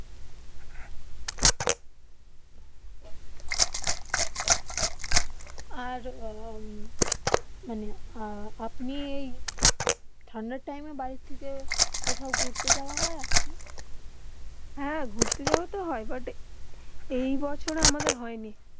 আর মানে আপনি ঠান্ডা টাইম বাড়ি থেকে কোথাও ঘুরতে যাওবা হয়ে আপনার হেঁ ঘুরতে যাওবা তো হয়ে বুট এই বছর আমাদের হয়ই নি